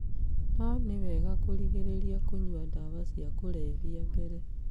No nĩ wega kũrigĩrĩria kũnyua ndawa cia kũlevya mbere.